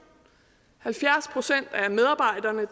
halvfjerds procent af medarbejderne